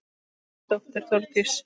Þín dóttir Þórdís.